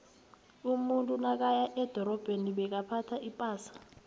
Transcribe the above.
umuntu nakaya edorabheni bekaphtha ipasa